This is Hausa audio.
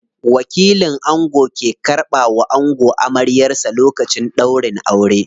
Wakilin ango ke karɓa wa ango amaryar sa lokacin ɗaurin aure.